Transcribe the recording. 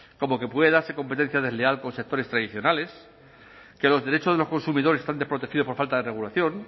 como que puede darse competencia desleal con sectores tradicionales que los derechos de los consumidores están desprotegidos por falta de regulación